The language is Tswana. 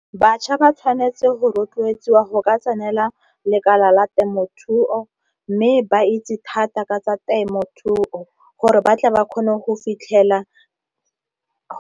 Bašwa ba tshwanetse go rotloetswa go ka tsenela lekala la temothuo, mme ba itse thata ka tsa temothuo gore ba tle ba kgone go fitlhela.